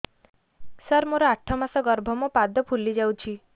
ସାର ମୋର ଆଠ ମାସ ଗର୍ଭ ମୋ ପାଦ ଫୁଲିଯାଉଛି